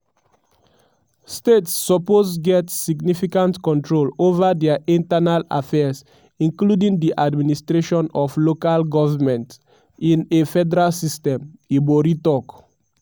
states suppose get significant control over dia internal affairs including di administration of local goments in a a federal system" ibori tok.